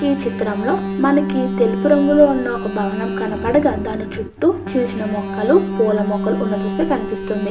ఈ చిత్రంలో మనకి తెలుపు రంగులో ఉన్న భవనం కనపడగా దాని చుట్టూ చిన్న చిన్న మొక్కలు పుల్ల మొక్కలు కనిపిస్తున్నది.